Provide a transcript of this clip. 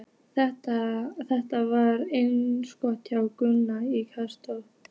Þetta var einsog hjá Gunnari í Krossinum.